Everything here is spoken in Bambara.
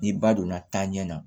Ni ba donna taa ɲɛ na